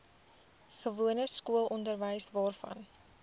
gewone skoolonderwys waarvan